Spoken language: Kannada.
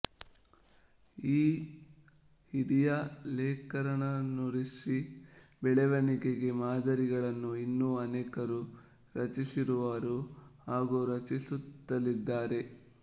ಈ ಹಿರಿಯ ಲೇಖಕರನ್ನನುಸರಿಸಿ ಬೆಳೆವಣಿಗೆಯ ಮಾದರಿಗಳನ್ನು ಇನ್ನೂ ಅನೇಕರು ರಚಿಸಿರುವರು ಹಾಗೂ ರಚಿಸುತ್ತಲಿದ್ದಾರೆ